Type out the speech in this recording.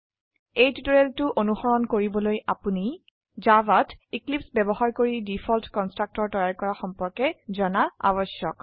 এই টিউটোৰিয়েলটো অনুসৰণ কৰিবলৈ আপোনি জাভাত এক্লীপ্স ব্যবহাৰ কৰিডিফল্ট কন্সট্ৰকটৰ তৈয়াৰ কৰা সম্পৰ্কে জানা আবশ্যক